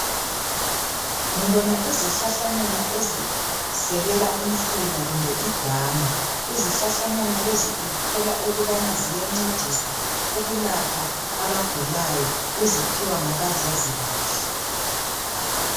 Ngibona izihlahlanyana ezi sekela umfula kumbe idamu. Izihlahlanyana lezi uthola ukubana ziyancedisa ukulapha abagulayo uziphiwa ngabazazi kahle